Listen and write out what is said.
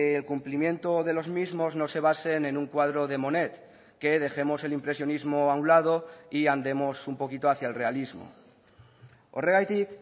el cumplimiento de los mismos no se basen en un cuadro de monet que dejemos el impresionismo a un lado y andemos un poquito hacia el realismo horregatik